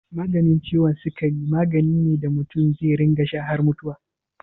Maganin ciwon sikari magani ne da mutum zai rinƙa sha har mutuwa.